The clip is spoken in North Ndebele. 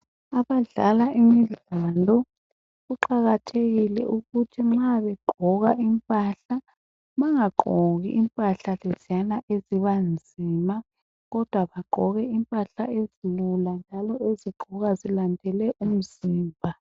Abadlala imidlalo kuqakathekile ukuthi nxa begqoka impahla bangagqoki impahla leziyana eziba nzima kodwa bagqoke impahla ezilula njalo ezigqokwa zilandele umzimba.